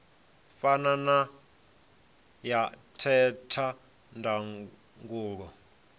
fana na ya theta ndangulo